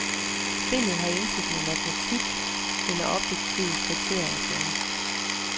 Spillet har intet med matematik eller objektive kriterier at gøre.